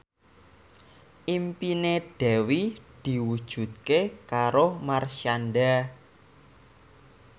impine Dewi diwujudke karo Marshanda